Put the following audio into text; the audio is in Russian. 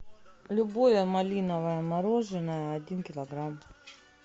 любое малиновое мороженое один килограмм